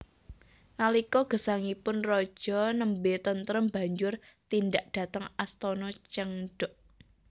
Nalika gesangipun raja nembé tentrem banjur tindak dhateng Astana Changdeok